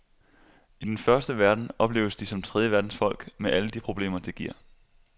I den første verden opleves de som tredjeverdensfolk med alle de problemer, det giver.